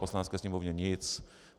Poslanecké sněmovně nic.